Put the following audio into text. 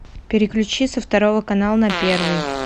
переключи со второго канала на первый